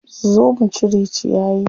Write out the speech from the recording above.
Zo mu cire ciyayi.